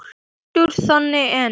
Oddur þagði enn.